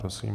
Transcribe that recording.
Prosím.